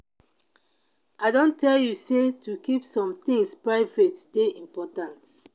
i don tell you sey to keep some tins private dey important.